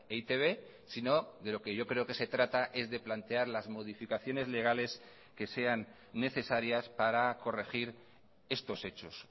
e i te be sino de lo que yo creo que se trata es de plantear las modificaciones legales que sean necesarias para corregir estos hechos